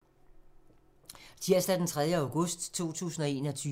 Tirsdag d. 3. august 2021